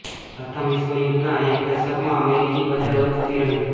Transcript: પ્રથમ વિશ્વ યુદ્ધના એક દસકમાં અમેરિકી બજાર વધતી રહી